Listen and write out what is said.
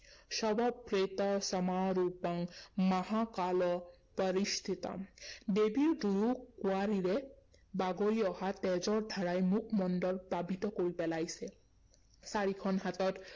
শৱপ্ৰেতসমাৰূঢ়াং মহাকাল পৰিস্থিতম ৷ দেৱীৰ দুয়ো কোৱাৰীৰে বাগৰি অহা তেজৰ ধাৰাই মুখমণ্ডল প্লাৱিত কৰি পেলাইছে। চাৰিখন হাতত